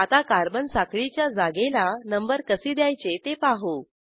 आता कार्बन साखळीच्या जागेला नंबर कसे द्यायचे ते पाहू